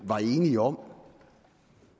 var enige om